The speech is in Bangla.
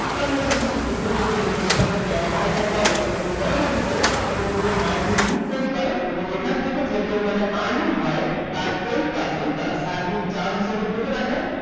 আপনার মত ক্ষুদ্র ক্ষুদ্র কিছু investor এক জায়গায় করে এবং পরবর্তীতে আপনাদের জন্য mining read তৈরি করে এবং এখান থেকে যে পরিমাণে earning হয় তার ten percent তারা service charge হিসেবে কেটে রাখে